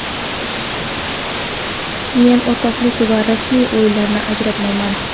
Men o‘rtoqlik va rasmiy o‘yinlarni ajratmayman.